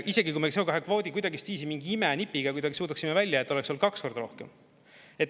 Isegi kui me CO2 kvoodi kuidagistviisi mingi imenipiga kuidagi suudaksime välja jätta, oleks olnud kaks korda rohkem.